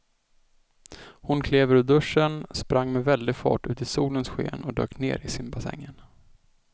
Hon klev ur duschen, sprang med väldig fart ut i solens sken och dök ner i simbassängen.